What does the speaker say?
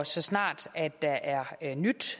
så snart der er nyt